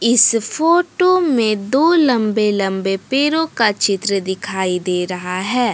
इस फोटो में दो लंबे लंबे पेरो का चित्र दिखाई दे रहा है।